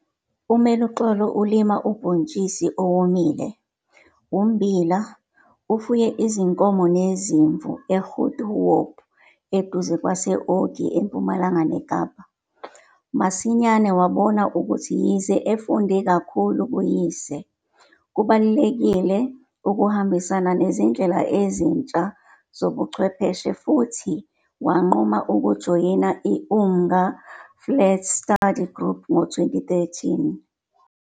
UMeluxolo ulima ubhontshisi owomile, ummbila, ufuye izinkomo nezimvu eGoedhoop eduze kwase-Ogie eMpumalanga neKapa. Masinyane wabona ukuthi yize efunde kakhulu kuyise, kubalulekile ukuhambisana nezindlela ezintsha zobuchwepheshe futhi wanquma ukujoyina i-Umnga Flats Study Group ngo-2013.